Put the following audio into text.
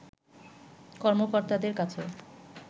কর্মকর্তাদের কাছে